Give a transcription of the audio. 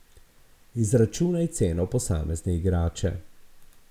Izračunaj ceno posamezne igrače.